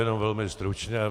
Jenom velmi stručně.